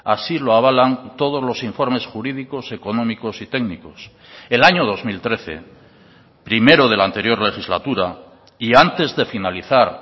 así lo avalan todos los informes jurídicos económicos y técnicos el año dos mil trece primero de la anterior legislatura y antes de finalizar